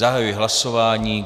Zahajuji hlasování.